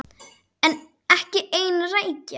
Ekki ein rækja.